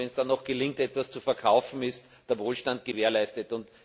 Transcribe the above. Wenn es dann noch gelingt, etwas zu verkaufen, ist der Wohlstand gewährleistet.